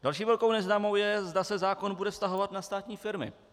Další velkou neznámou je, zda se zákon bude vztahovat na státní firmy.